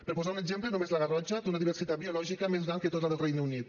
per posar un exemple només la garrotxa té una diversitat biològica més gran que tota la del regne unit